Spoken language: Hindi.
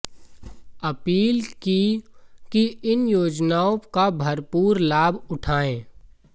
अपील की कि इन योजनाओं का भरपूर लाभ उठायें